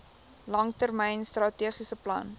langtermyn strategiese plan